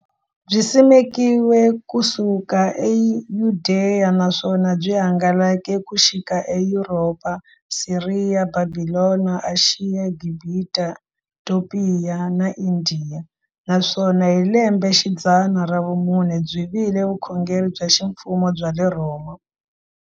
Byi simekiwe ku suka eYudeya, naswona byi hangalake ku xika eYuropa, Siriya, Bhabhilona, Ashiya, Gibhita, Topiya na Indiya, naswona hi lembexidzana ra vumune byi vile vukhongeri bya ximfumo bya le Rhoma.